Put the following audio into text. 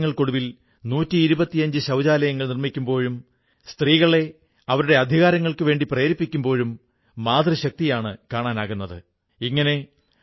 അമേരിക്കയിൽ ചിൻമയ പാടൺകറും പ്രജ്ഞാ പാടൺകറും തങ്ങളുടെ വീട്ടിൽത്തന്നെ ഞാണിൻമേൽക്കളി പഠിപ്പിക്കാൻ തുടങ്ങിയപ്പോൾ ഇത്രയും വിജയം വരിക്കാനാകുമെന്ന് അവർ പ്രതീക്ഷിച്ചിരുന്നതേയില്ല